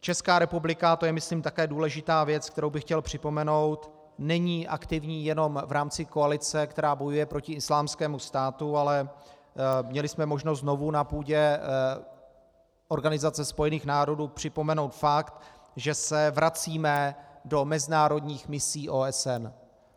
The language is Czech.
Česká republika - to je, myslím, také důležitá věc, kterou bych chtěl připomenout - není aktivní jenom v rámci koalice, která bojuje proti Islámskému státu, ale měli jsme možnost znovu na půdě Organizace spojených národů připomenout fakt, že se vracíme do mezinárodních misí OSN.